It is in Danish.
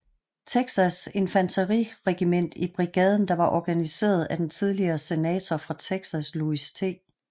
Texas infanteriregiment i brigaden der var organiseret af den tidligere senator fra Texas Louis T